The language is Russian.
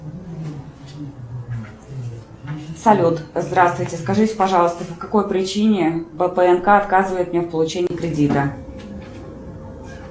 салют здравствуйте скажите пожалуйста по какой причине бпнк отказывает мне в получении кредита